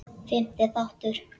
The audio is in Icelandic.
Fimmti þáttur